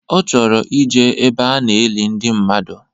Ọ chọrọ ijee ebe a na-eli ndi mmadụ